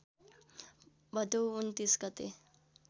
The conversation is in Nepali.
भदौ २९ गते